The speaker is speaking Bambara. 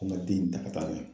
Ko n ka den in minɛ ka taa n'a ye